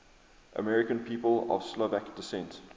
american people of slovak descent